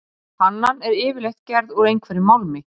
Pannan er yfirleitt gerð úr einhverjum málmi.